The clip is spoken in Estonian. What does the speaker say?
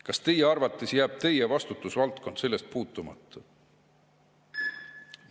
Kas tema arvates jääb tema vastutusvaldkond sellest puutumata?